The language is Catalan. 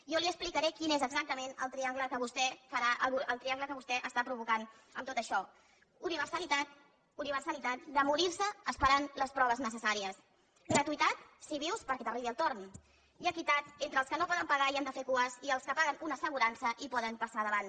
jo li explicaré quin és exactament el triangle que vostè està provocant amb tot això universalitat de morir se esperant les proves necessàries gratuïtat si vius perquè t’arribi el torn i equitat entre els que no poden pagar i han de fer cues i els que paguen una assegurança i poden passar davant